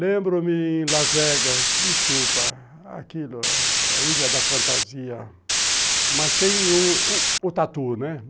Lembro-me em Las Vegas, desculpa, aquilo, a Ilha da Fantasia, mas sem o o o Tatu, né?